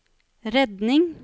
redning